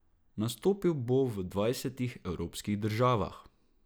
Nastopil bo v dvajsetih evropskih državah.